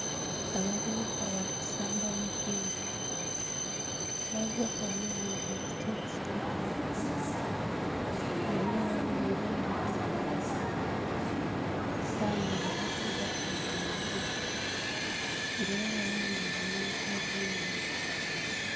Abavubuka balisamba mupira, abavubuka bano bambaire stokisi mpanvu nga eyo abambaire endheru, yabayo ayambaire edha olwengi nga era bayambaire n'empale enhimpi.